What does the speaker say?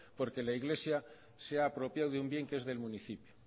porque la iglesia se ha apropiado de un bien que es del municipio